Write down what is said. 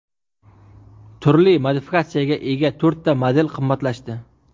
Turli modifikatsiyaga ega to‘rtta model qimmatlashdi.